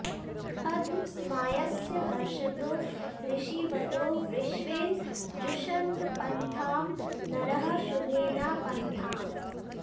अध॑ स्मास्य॒ हर्ष॑तो॒ हृषी॑वतो॒ विश्वे॑ जुषन्त॒ पन्थां॒ नरः॑ शु॒भे न पन्था॑म्